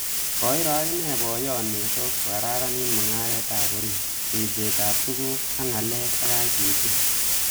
Koiro akine boyot Meso kokararanitu mungaret ap orit, ripset ap tukuk ak ngalek ak ICT.